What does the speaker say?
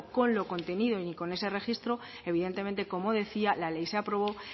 con el contenido ni con ese registro evidentemente como decía la ley se aprobó